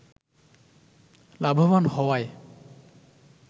লাভবান হওয়ায়